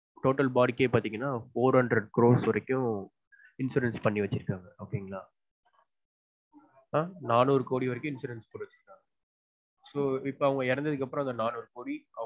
Total body க்கே பாத்தீங்கன four hundred crores வரைக்கும் insurance பண்ணி வச்சுருந்தாங்க okay ங்களா நானூறு கோடி வரைக்கும் insurance பண்ணிருந்தாங்க அவங்க இறந்ததுக்கு அப்புறம் அந்த நானூறு கோடி